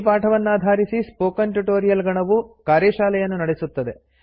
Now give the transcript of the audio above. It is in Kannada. ಈ ಪಾಠವನ್ನಾಧಾರಿಸಿ ಸ್ಪೋಕನ್ ಟ್ಯುಟೊರಿಯಲ್ ಗಣವು ಕಾರ್ಯಶಾಲೆಯನ್ನು ನಡೆಸುತ್ತದೆ